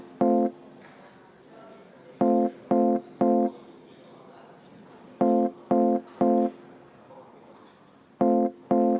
V a h e a e g